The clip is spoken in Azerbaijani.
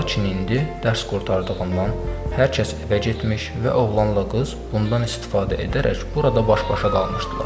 Lakin indi dərs qurtardığından hər kəs evə getmiş və oğlanla qız bundan istifadə edərək burada baş-başa qalmışdılar.